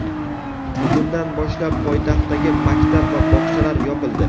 Bugundan boshlab poytaxtdagi maktab va bog‘chalar yopildi.